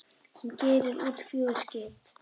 sem gerir út fjögur skip.